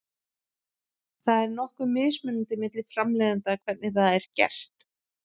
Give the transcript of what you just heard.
Það er nokkuð mismunandi milli framleiðenda hvernig það er gert.